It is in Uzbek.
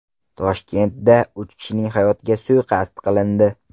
Toshkentda uch kishining hayotiga suiqasd qilindi.